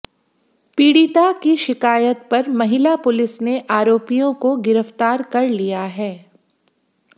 पीडिता की शिकायत पर महिला पुलिस ने आरोपियों को गिरफ्तार कर लिया है